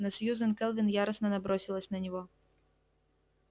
но сьюзен кэлвин яростно набросилась на него